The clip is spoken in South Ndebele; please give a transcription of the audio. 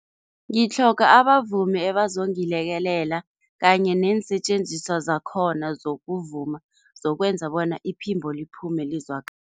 Ngitlhoga abavumi ebazongilekelela kanye neensetjenziswa zakhona zokuvuma, zokwenza bona iphimbo liphume